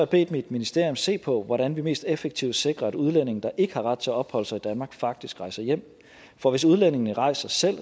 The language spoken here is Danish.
bedt mit ministerium se på hvordan vi mest effektivt sikrer at udlændinge der ikke har ret til at opholde sig i danmark faktisk rejser hjem for hvis udlændingene rejser selv